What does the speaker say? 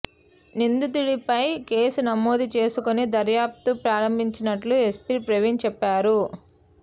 నిందితుడిపై కేసు నమోదు చేసుకొని దర్యాప్తు ప్రారంభించినట్లు ఎస్పీ ప్రవీణ్ చెప్పారు